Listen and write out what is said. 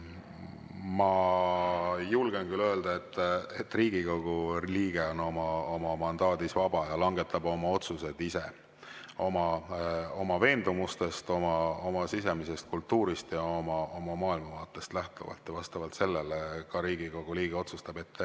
Ma julgen küll öelda, et Riigikogu liige on oma mandaadis vaba ja langetab oma otsused ise, oma veendumustest, oma sisemisest kultuurist ja oma maailmavaatest lähtuvalt, vastavalt sellele ka Riigikogu liige otsustab.